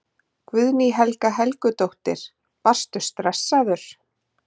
Guðný Helga Helgadóttir: Varstu stressaður?